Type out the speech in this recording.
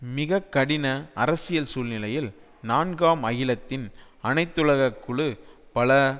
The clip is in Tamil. மிகக்கடின அரசியல் சூழ்நிலையில் நான்காம் அகிலத்தின் அனைத்துலக குழு பல